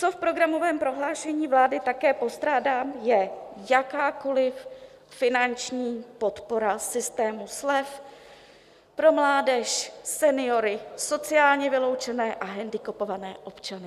Co v programovém prohlášení vlády také postrádám, je jakákoliv finanční podpora systému slev pro mládež, seniory, sociálně vyloučené a handicapované občany.